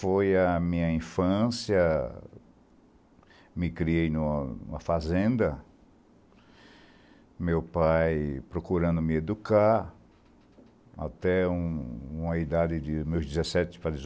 Foi a minha infância, me criei numa fazenda, meu pai procurando me educar, até uma idade dos meus dezessete para dezoito